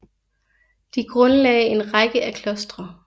De grundlagde en række af klostre